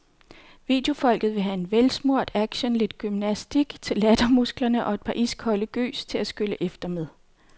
Videofolket vil have velsmurt action, lidt gymnastik til lattermusklerne og et par iskolde gys til at skylle efter med.